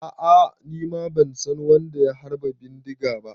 A'a, nima ban san wadda ya harba bindiga ba.